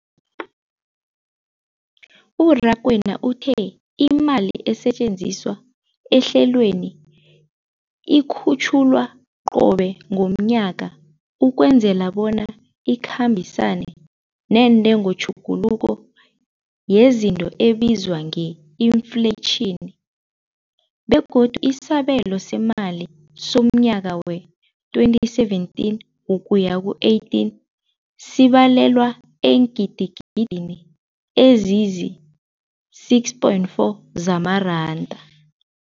U-Rakwena uthe imali esetjenziswa ehlelweneli ikhutjhulwa qobe ngomnyaka ukwenzela bona ikhambisane nentengotjhuguluko yezinto ebizwa nge-infleyitjhini, begodu isabelo seemali somnyaka we-2017 ukuya ku-18 sibalelwa eengidigidini ezisi-6.4 zamaranda.